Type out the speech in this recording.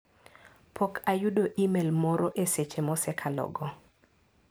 Pok ayudo imel moro e seche mosekalo go.